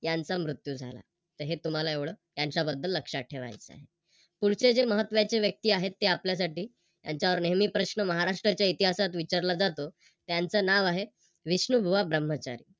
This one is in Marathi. त्यांचा मृत्यू झाला तर हे तुम्हाला एवढ त्त्यांच्याबद्दल लक्षात ठेवायच आहे. पुढचे जे महत्वाचे व्यक्ती आहेत ते आपल्यासाठी त्यांच्यावर नेहमी प्रश्न महाराष्ट्राच्या इतिहासात विचारला जातो. त्याचे नाव आहे विष्णुबुवा ब्रह्मचारी.